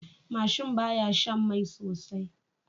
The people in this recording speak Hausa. Mashin baya Shan Mai sosai